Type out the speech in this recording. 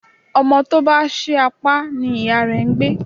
Ọmọ tó bá ṣí apá ni ìyá ń gbé.